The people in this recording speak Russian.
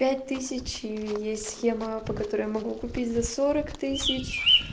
пять тысяч и есть схема по которой я могу купить за сорок тысяч